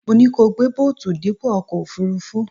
Mo ní kí o gbé bóòtù dípò ọkọ̀ òfuurufú